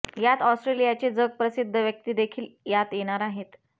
यात आस्ट्रेलियाचे जग प्रसिद्ध व्यक्तीदेखील यात येणार आहेत